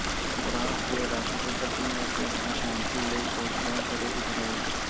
France ਦੇ ਰਾਸ਼ਟਰਪਤੀ ਨੇ ਕਿਹਾ ਸ਼ਾਂਤੀ ਲਈ ਕੋਸ਼ਿਸ਼ਾਂ ਕਰੇ ਇਜ਼ਰਾਇਲ